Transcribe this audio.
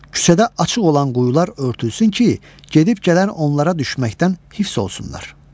Küçədə açıq olan quyular örtülsün ki, gedib gələn onlara düşməkdən hifz olsunlar.